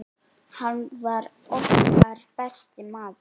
Hann var okkar besti maður.